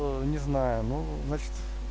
о не знаю ну значит